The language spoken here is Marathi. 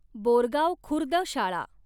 बोरगाव खुर्द शाळा